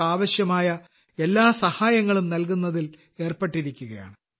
രോഗികൾക്ക് ആവശ്യമായ എല്ലാ സഹായങ്ങളും നൽകുന്നതിൽ ഏർപ്പെട്ടിരിക്കുകയാണ്